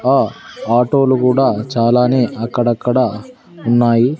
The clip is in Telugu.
ఆ ఆటో లు గూడా చాలానే అక్కడక్కడ ఉన్నాయి.